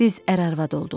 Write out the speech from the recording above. Biz ərə arvad olduq.